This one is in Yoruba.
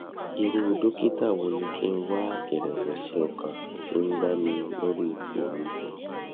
irú dókítà wo ni kí n wá ìrẹwẹsì ọkàn ti ń bà mí lórí ipò mi